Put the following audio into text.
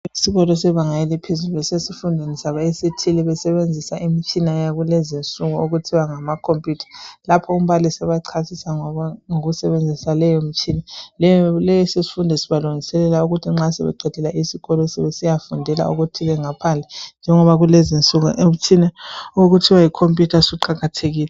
Esikolo sebanga yaphezulu esifundweni sabo esithile, besebenzisa imitshina yakulezinsuku okuthiwa ngama computer. Lapho umbalisi ebachasisa ngokusebenzisa leyo mitshina. Leso sifunda sibalungiselela nxa sebeqedile esikolo sebesiyafundela okuthile ngaphandle njengoba kulezinsuku imitshina ukuthiwa yi computer siqakathekile.